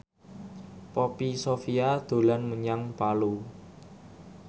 Poppy Sovia dolan menyang Palu